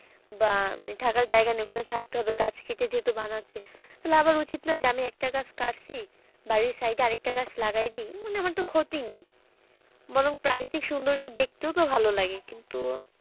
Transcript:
বা মানে থাকার জায়গা নাই ওখানে থাকতে হবে গাছ কেটে যেহেতু বানাচ্ছে তাহলে আবার উচিত না যে আমি একটা গাছ কাটছি বাড়ির side এ আরেকটা গাছ লাগিয়ে দিই মানে আমার তো ক্ষতি নেই বরং প্রাকৃতিক সৌন্দর্য দেখতেও তো ভালো লাগে কিন্তু,